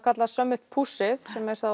kallar summit push ið